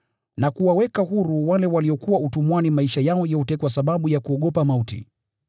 na kuwaweka huru wale waliokuwa utumwani maisha yao yote kwa sababu ya kuogopa mauti.